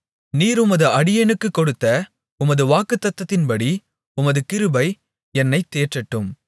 நீர் உமது அடியேனுக்குக் கொடுத்த உமது வாக்குத்தத்தத்தின்படி உமது கிருபை என்னைத் தேற்றட்டும்